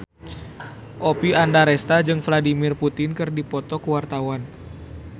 Oppie Andaresta jeung Vladimir Putin keur dipoto ku wartawan